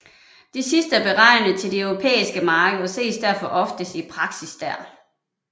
Det sidste er beregnet til det europæiske marked og ses derfor oftest i praksis der